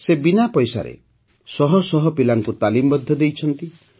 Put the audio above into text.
ସେ ବିନା ପଇସାରେ ଶହ ଶହ ପିଲାଙ୍କୁ ତାଲିମ୍ ମଧ୍ୟ ଦେଇଛନ୍ତି